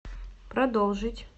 продолжить